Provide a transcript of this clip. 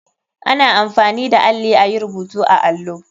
Ana amfani da alli ayi rubutu a allo.